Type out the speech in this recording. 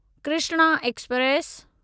Krishna express